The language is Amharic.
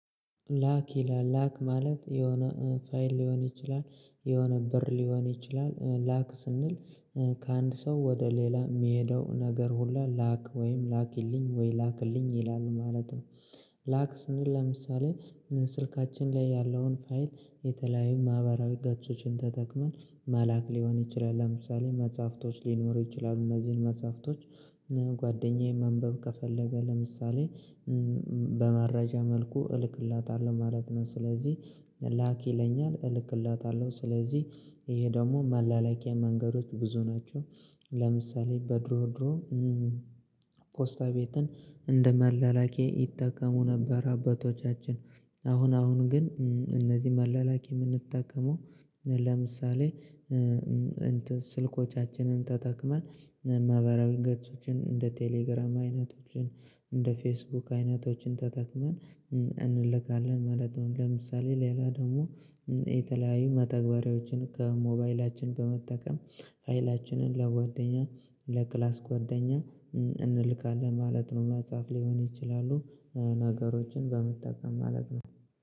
ላክ ይላል ላክ ማለት የሆነ ፋይል ሊሆን ይችላል የሆነ ብር ሊሆን ይችላል ላክ ስንል ከአንድ ሰው ወደ ሌላ የሚሄደው ነገር ሁላ ላክ ወይም ላኪልኝ ወይ ላክልኝ ይላሉ ማለት ነው። ላክ ስንል ለምሳሌ ስልካችን ላይ ያለውን ፋይል የተለያዩ ማህበራዊ ገጾችን ተጠቅመን መላክ ሊሆን ይችላል ለምሳሌ መጽሐፍቶች ሊኖሩ ይችላሉ እነዚህን መጽሐፍቶች ጓደኛዬ ማንበብ ከፈለገ ለምሳሌ በመረጃ መልኩ እልክለታለሁ ማለት ነው። ስለዚህ ላክ ይለኛል እልክለታለሁ ስለዚህ ይሄ ደግሞ መላላኪያ መንገዶች ብዙ ናቸው። ለምሳሌ በድሮ ድሮ ፖስታ ቤትን እንደ መላላኪያ ይጠቀሙ ነበር አባቶቻችን። አሁን አሁን ግን እነዚህ መላላክ የምንጠቀመው ለምሳሌ እንትን ስልኮቻችንን ተጠቅመን ማህበራዊ ገጾችን እንደ ቴሌግራም አይነቶችን እንደ ፌስቡክ አይነቶችን ተጠቅመን እንልካለን ማለት ነው። ለምሳሌ ሌላ ደግሞ የተለያዩ መተግበሪያዎችን ከሞባይላችን በመጠቀም ሀይላችንን ለጓደኛ ለክላስ ጓደኛ እንልካለን ማለት ነው። ማጻፍ ሊሆን ይችላሉ ነገሮችን በመጠቀም ማለት ነው